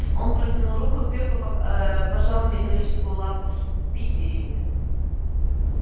он протянул руку и крепко аа пожал металлическую лапу спиди